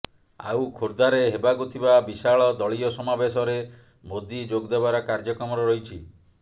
ଆଉ ଖୋର୍ଦ୍ଧାରେ ହେବାକୁ ଥିବା ବିଶାଳ ଦଳୀୟ ସମାବେଶରେ ମୋଦି ଯୋଗଦେବାର କାର୍ଯ୍ୟକ୍ରମ ରହିଛି